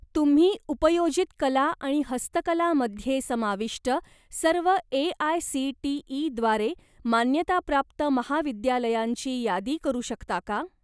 तुम्ही उपयोजित कला आणि हस्तकला मध्ये समाविष्ट सर्व ए.आय.सी.टी.ई. द्वारे मान्यताप्राप्त महाविद्यालयांची यादी करू शकता का?